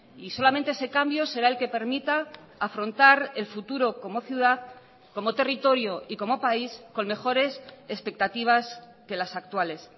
y solamente ese cambio será el que permita afrontar el futuro como ciudad como territorio y como país con mejores expectativas que las actuales